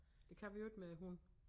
Det kan vi jo ikke med æ hund